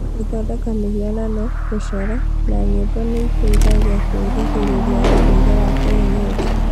Gũthondeka mĩhianano, gũcora, na nyĩmbo nĩ iteithagia kwĩrigĩrĩria ũndũire wa kienyeji.